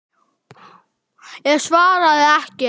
Ég svaraði ekki.